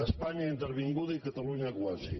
espanya intervinguda i catalunya quasi